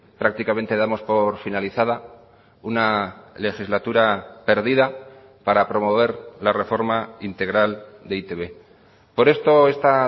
prácticamente damos por finalizada una legislatura perdida para promover la reforma integral de e i te be por esto esta